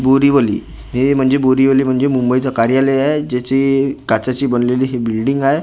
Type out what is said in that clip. बोरीवली हे म्हणजे मुंबईचं कार्यालय आहे ज्याची काचेची बनलेली हि बिल्डिंग आहे .